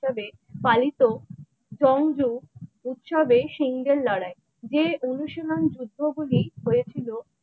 পালিত জঞ্জুর উৎসবের সিংহের লড়াই যে অনুশীলন যুদ্ধ গুলি হয়েছিল ।